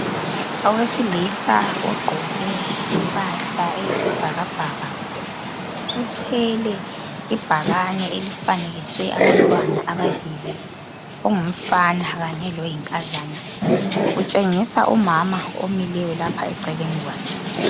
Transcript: Owesilisa ogqoke impahla eyisibhakabhaka uthwele ibhakane elifanekiswe abantwana ababili ongumfana kanye loyinkazana utshengisa umama omileyo lapha eceleni kwakhe.